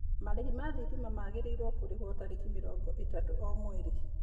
Marĩhi ma thitima magĩrĩirũo kũrĩhwo tarĩki mĩrongo ĩthatu o mweri.